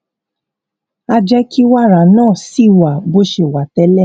á jé kí wàrà náà ṣì wà bó ṣe wà télè